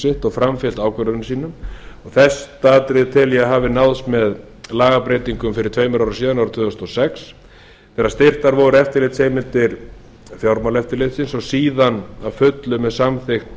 sitt og framfylgt ákvörðunum sínum og þetta atriði tel ég að hafi náðst með lagabreytingum fyrir tveimur árum síðan árið tvö þúsund og sex þegar styrktar voru eftirlitsheimildir fjárlagaeftirlitsins og síðan að fullu með samþykkt